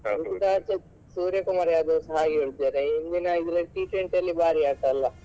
ಆಚೆ ಸೂರ್ಯಕುಮಾರ್ ಯಾದವ್ಸ ಹಾಗೆ ಹೊಡ್ದಿದ್ದಾರೆ ಹಿಂದಿನ T twenty ಅಲ್ಲಿ ಭಾರಿ ಆಟ ಅಲ್ಲ.